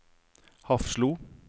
Hafslo